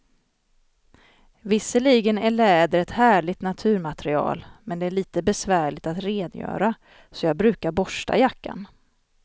Visserligen är läder ett härligt naturmaterial, men det är lite besvärligt att rengöra, så jag brukar borsta jackan.